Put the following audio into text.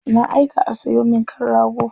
Na aika a sayo min kan rago.